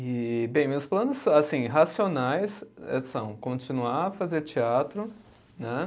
E, bem, meus planos, assim, racionais eh são continuar a fazer teatro, né?